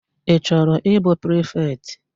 Ị chọrọ ịbụ prifetị?